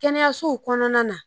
Kɛnɛyasow kɔnɔna na